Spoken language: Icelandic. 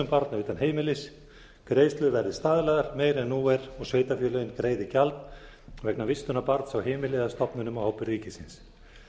barna utan heimilis greiðslur verði staðlaðar meira en nú er og sveitarfélögin greiði gjald vegna vistunar barns á heimili eða stofnunum á ábyrgð ríkisins